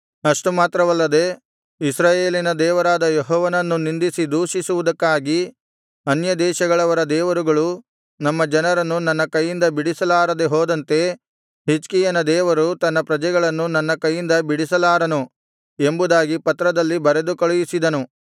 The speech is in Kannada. ಅಷ್ಟು ಮಾತ್ರವಲ್ಲದೆ ಇಸ್ರಾಯೇಲಿನ ದೇವರಾದ ಯೆಹೋವನನ್ನು ನಿಂದಿಸಿ ದೂಷಿಸುವುದಕ್ಕಾಗಿ ಅನ್ಯದೇಶಗಳವರ ದೇವರುಗಳು ತಮ್ಮ ಜನರನ್ನು ನನ್ನ ಕೈಯಿಂದ ಬಿಡಿಸಲಾರದೆ ಹೋದಂತೆ ಹಿಜ್ಕೀಯನ ದೇವರು ತನ್ನ ಪ್ರಜೆಗಳನ್ನು ನನ್ನ ಕೈಯಿಂದ ಬಿಡಿಸಲಾರನು ಎಂಬುದಾಗಿ ಪತ್ರದಲ್ಲಿ ಬರೆದು ಕಳುಹಿಸಿದನು